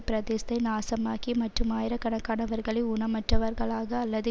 பிரதேசத்தை நாசமாக்கி மற்றும் ஆயிரக்கணக்கானவர்களை ஊனமுற்றவர்களாக அல்லது